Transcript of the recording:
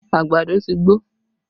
Àgbàdo ti gbó